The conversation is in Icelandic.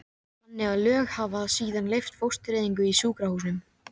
þannig að lög hafa síðan leyft fóstureyðingar í sjúkrahúsum.